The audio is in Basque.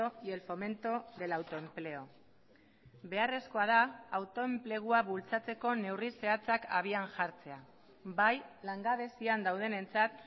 y el fomento del autoempleo beharrezkoa da autoenplegua bultzatzeko neurri zehatzak abian jartzea bai langabezian daudenentzat